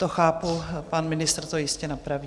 To chápu, pan ministr to jistě napraví.